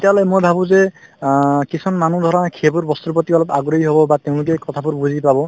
তেতিয়াহলে মই ভাবো যে অ কিছুমান মানুহ ধৰা সেইবোৰ বস্তুৰ প্ৰতি অলপ আগ্ৰহী হব বা তেওঁলোকে এই কথাবোৰ বুজি পাব